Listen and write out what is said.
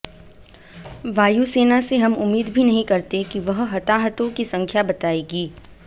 वायुसेना से हम उम्मीद भी नहीं करते कि वह हताहतों की संख्या बताएगी